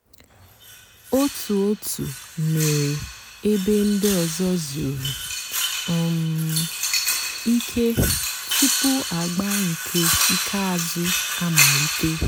ótú ótú mèéré èbé ndị́ ọ̀zọ́ zùrú um ìké túpú àgbà nkè ìkèázụ́ àmàlíté.